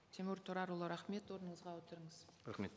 тимур тұрарұлы рахмет орныңызға отырыңыз рахмет